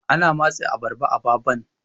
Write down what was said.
ana matse abarba ababan